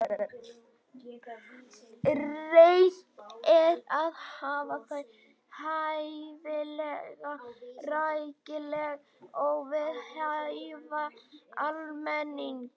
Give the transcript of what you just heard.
Reynt er að hafa þau hæfilega rækileg og við hæfi almennings.